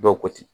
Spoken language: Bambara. Dɔw ko ten